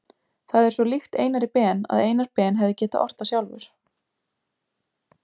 Það er svo líkt Einari Ben að Einar Ben hefði getað ort það sjálfur.